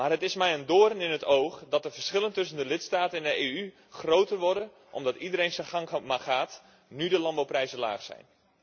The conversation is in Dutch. Het is mij echter een doorn in het oog dat de verschillen tussen de lidstaten in de EU groter worden omdat iedereen zijn gang maar gaat nu de landbouwprijzen laag zijn.